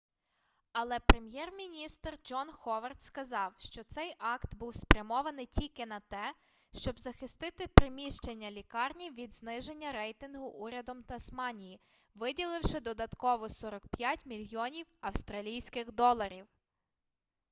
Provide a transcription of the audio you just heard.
але прем'єр-міністр джон ховард сказав що цей акт був спрямований тільки на те щоб захистити приміщення лікарні від зниження рейтингу урядом тасманії виділивши додатково 45 мільйонів австралійських доларів